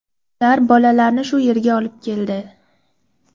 Ular bolalarni shu yerga olib keldi.